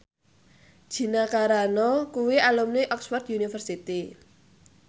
Gina Carano kuwi alumni Oxford university